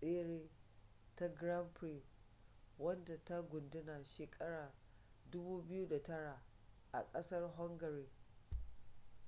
tsere ta grand prix wadda ta gudana shekarar 2009 a kasar hungary